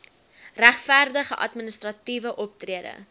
regverdige administratiewe optrede